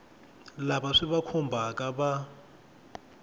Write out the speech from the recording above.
lava swi va khumbhaka va